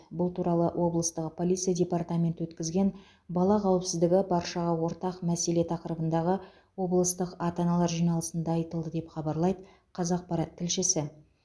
бұл туралы облыстағы полиция департаменті өткізген бала қауіпсіздігі баршаға ортақ мәселе тақырыбындағы облыстық ата аналар жиналысында айтылды деп хабарлайды қазақпарат тілшісі